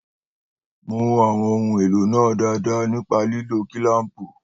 Mú àwọn ohun èlò náà dáadáa nípa lílo kilaampu